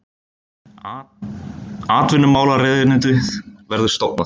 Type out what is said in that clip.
Atvinnumálaráðuneytið verður stofnað